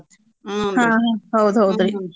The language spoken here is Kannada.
ಹೌದ್ ಹೌದ್ರಿ.